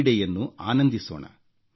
ಕ್ರೀಡೆಯನ್ನು ಆನಂದಿಸೋಣ